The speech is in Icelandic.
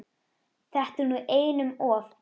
Þetta er nú einum of!